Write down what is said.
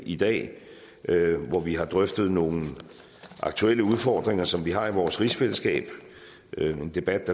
i dag hvor vi har drøftet nogle aktuelle udfordringer som vi har i vores rigsfællesskab en debat